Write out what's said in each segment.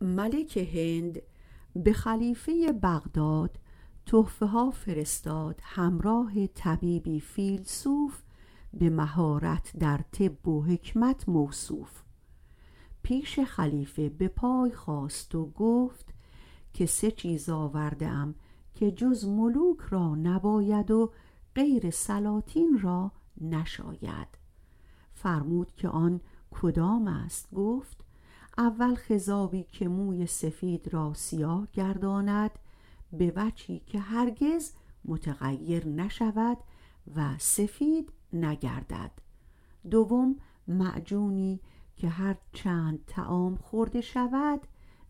ملک هند به خلیفه بغداد تحفه ها فرستاد همراه طبیبی فیلسوف به مهارت در طب و حکمت موصوف پیش خلیفه به پای خاست که سه چیز آورده ام که جز ملوک را نباید و جز سلاطین را نشاید فرمود که آن کدام است گفت اول خضابی که موی سفید را سیاه گرداند به وجهی که هرگز متغیر نشود و سفید نگردددویم معجونی که هر چند طعام خورد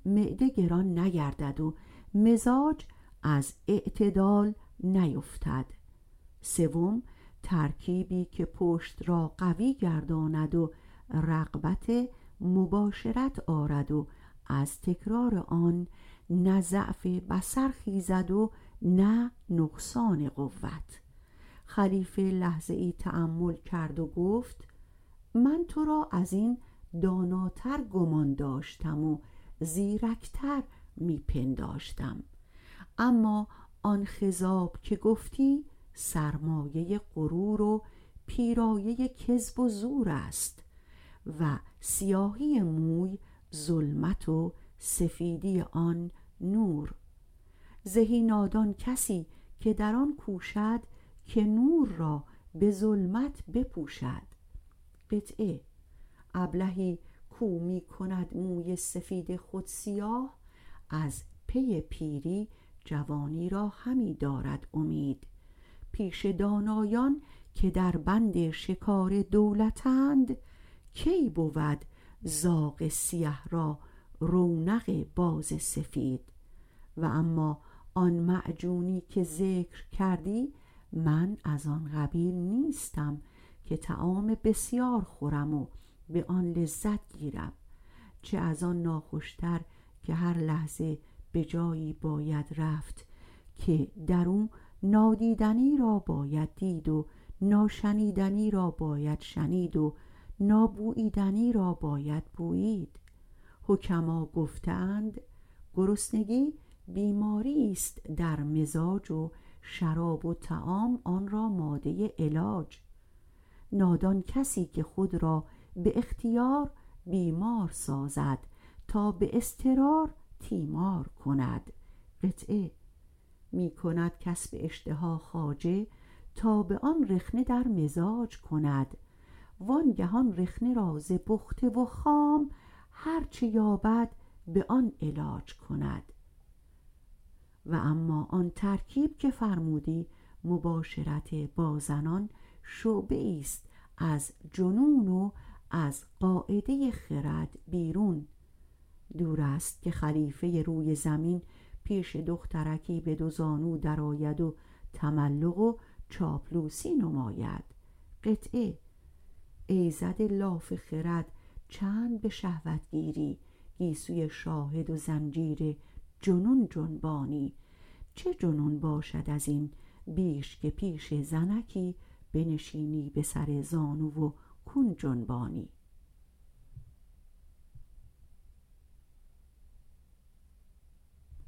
معده گران نگردد و مزاج از اعتدال نیفتد سیوم ترکیبی که پشت را قوی گرداند و رغبت مباشرت آرد و از تکرار آن نه ضعف بصر خیزد و نه نقصان قوت خلیفه لحظه ای تأمل کرد و گفت من تو را ازین داناتر گمان داشتم و زیرکتر می پنداشتم اما آن خضاب که گفتی سرمایه غرور و پیرایه کذب و زور است سیاهی مو ظلمت و سفیدی آن نور است زهی نادان کسی که در آن کوشد که نور را به ظلمت بپوشد ابلهی کو می کند موی سفید خود سیاه از پی پیری جوانی را همه دارد امید پیش دانایان که در بند شکار دولتند کی بود زاغ سیه را رونق باز سفید و اما آن معجون که ذکر کردی من از آن قبیل نیستم که طعام بسیار خورم و به آن لذت گیرم چه از آن ناخوشتر که هر لحظه به جایی باید رفت که در او نادیدنی را باید دید و ناشنیدنی را باید شنید و نابوییدنی را باید بویید حکما گفته اند گرسنگی بیماریست در مزاج و شراب و طعام آن را ماده علاج نادان کسی است که خود را به اختیار بیمار سازد تا به اضطرار تیمار کند می کند کسب اشتها خواجه تا به آن رخنه در مزاج کند وانگه آن رخنه را ز پخته و خام هر چه یابد به آن علاج کند و اما آن ترکیب که فرمودی مباشرت با زنان شعبه ایست از جنون از قاعده خرد دور است که خلیفه روی زمین پیش دخترکی به دو زانو درآید و چاپلوسی نماید ای زده لاف خرد چند به شهوت گیری گیسوی شاهد و زنجیر جنون جنبانی چه جنون باشد ازین بیش که پیش زنکی بنشینی به سر زانو و کون جنبانی